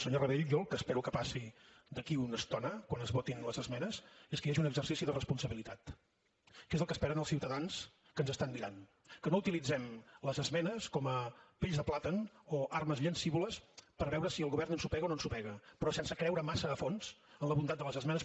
senyor rabell jo el que espero que passi d’aquí una estona quan es votin les esmenes és que hi hagi un exercici de responsabilitat que és el que esperen els ciutadans que ens estan mirant que no utilitzem les esmenes com a pells de plàtan o armes llancívoles per veure si el govern ensopega o no ensopega però sense creure massa a fons en la bondat de les esmenes